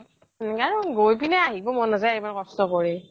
অহ গৈপিনে আহিব মন নাজায় ইমান কষ্ট কৰি